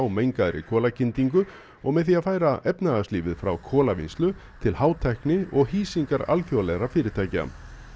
mengaðri og með því að færa efnahagslífið frá til hátækni og hýsingar fjölþjóðlegra fyrirtækja